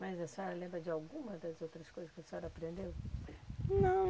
Mas a senhora lembra de alguma das outras coisas que a senhora aprendeu? Não